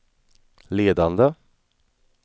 ledande